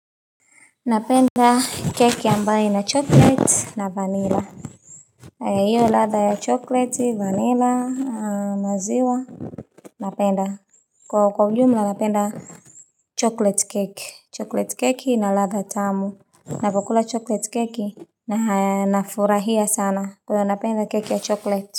Napenda keki ambaye ina chocolate na vanilla. Iyo latha ya chocolate, vanilla, namaziwa. Napenda. Kwa ujumla napenda chocolate keki. Chocolate keki na latha tamu. Navyokula chocolate keki na nafurahia sana kwa hivyo napenda keki ya chocolate.